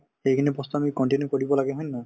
তে সেইখিনি বস্তু আমি continue কৰিব লাগে হয় নে নহয়